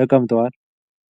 ተቀምጠዋል።